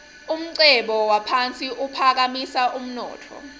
umcebo waphasi uphakamisa umnotfo